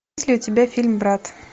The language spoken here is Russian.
есть ли у тебя фильм брат